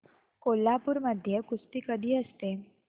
कोल्हापूर मध्ये कुस्ती कधी असते